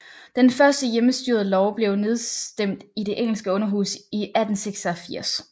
Den første hjemmestyrelov blev nedstemt i det engelske underhus i 1886